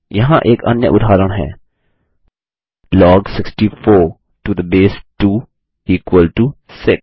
यहाँ एक अन्य उदाहरण है log 64 to the base 2 equal to 6